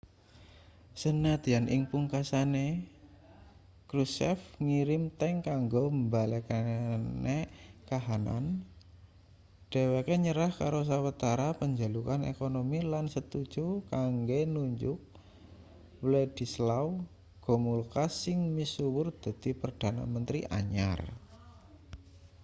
sanadyan ing pungkasane krushchev ngirim tank kanggo mbalekne kahanan dheweke nyerah karo sawetara panjalukan ekonomi lan setuju kanggo nunjuk wladyslaw gomulka sing misuwur dadi perdana menteri anyar